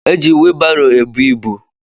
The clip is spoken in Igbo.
Eji whielu barô ebú ịbụ.